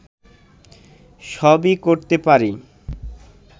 সবই করতে পারি